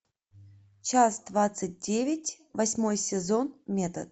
часть двадцать девять восьмой сезон метод